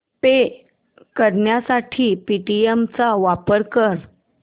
पे करण्यासाठी पेटीएम चा वापर कर